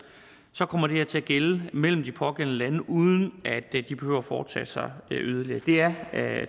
så kommer det her til at gælde mellem de pågældende lande uden at de behøver at foretage sig yderligere det er